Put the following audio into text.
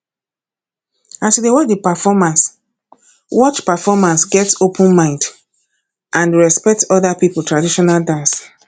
as you dey watch performance watch performance get open mind and respect oda pipo traditional dance